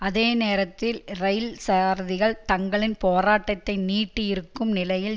அதே நேரத்தில் இரயில் சாரதிகள் தங்களின் போராட்டத்தை நீட்டியிருக்கும் நிலையில்